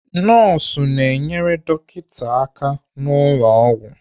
Nọọsụ na-enyere dọkịta aka n'ụlọ ọgwụ.